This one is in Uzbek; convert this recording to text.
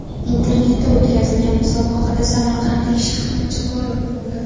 Internetda o‘tkazilgan musobaqada samarqandlik shaxmatchi g‘olib bo‘ldi.